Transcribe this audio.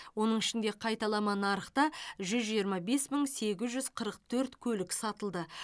оның ішінде қайталама нарықта жүз жиырма бес мың сегіз жүз қырық төрт көлік сатылды